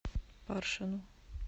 паршину